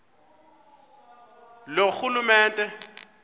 loorhulumente